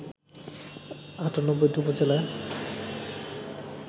৯৮টি উপজেলায়